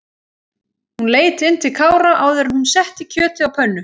Hún leit inn til Kára áður en hún setti kjötið á pönnu.